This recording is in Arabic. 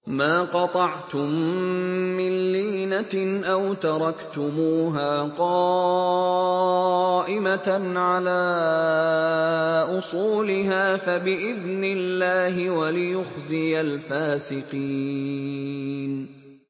مَا قَطَعْتُم مِّن لِّينَةٍ أَوْ تَرَكْتُمُوهَا قَائِمَةً عَلَىٰ أُصُولِهَا فَبِإِذْنِ اللَّهِ وَلِيُخْزِيَ الْفَاسِقِينَ